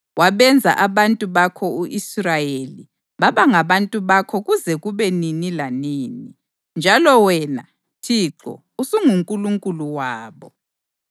Wabenza abantu bakho u-Israyeli baba ngabantu bakho kuze kube nini lanini, njalo wena, Thixo, usunguNkulunkulu wabo.